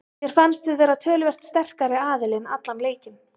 Mér fannst við vera töluvert sterkari aðilinn allan leikinn.